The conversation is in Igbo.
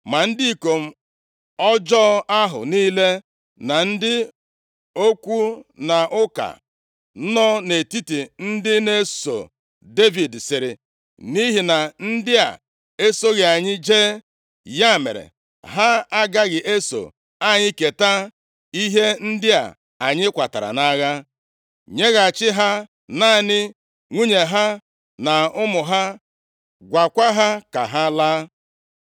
Ma ndị ikom ọjọọ ahụ niile, na ndị okwu na ụka nọ nʼetiti ndị na-eso Devid sịrị, “Nʼihi na ndị a esoghị anyị jee, ya mere ha agaghị eso anyị keta ihe ndị a anyị kwatara nʼagha. Nyeghachi ha naanị nwunye ha na ụmụ ha; gwakwa ha ka ha laa.”